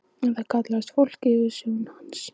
En það kallaði fólk yfirsjón hans.